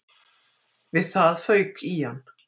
Við það fauk í hann